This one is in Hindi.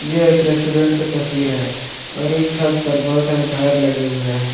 यह एक रेस्टोरेंट का तस्वीर है और इस छत पर बहोत सारे झालर लगे हुए हैं।